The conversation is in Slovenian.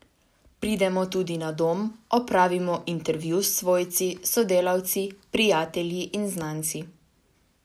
Pridemo tudi na dom, opravimo intervju s svojci, sodelavci, prijatelji in znanci.